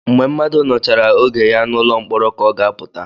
Mgbe mmadụ nọchara oge ya n'ụlọ mkpọrọ ka ọ ga-apụta